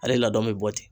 Ale ladon bɛ bɔ ten